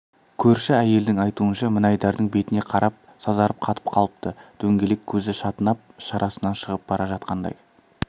көрші әйелдің айтуынша мінайдардың бетіне қарап сазарып қатып қалыпты дөңгелек көзі шатынап шарасынан шығып бара жатқандай